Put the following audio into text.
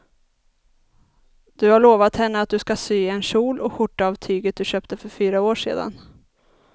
Du har lovat henne att du ska sy en kjol och skjorta av tyget du köpte för fyra år sedan.